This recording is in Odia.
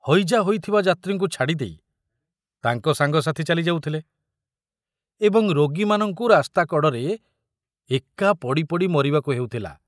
ହଇଜା ହୋଇଥିବା ଯାତ୍ରୀଙ୍କୁ ଛାଡ଼ି ଦେଇ ତାଙ୍କ ସାଙ୍ଗସାଥୀ ଚାଲି ଯାଉଥିଲେ ଏବଂ ରୋଗୀମାନଙ୍କୁ ରାସ୍ତା କଡ଼ରେ ଏକା ପଡ଼ି ପଡ଼ି ମରିବାକୁ ହେଉଥିଲା।